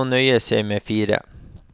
De må nøye seg med fire.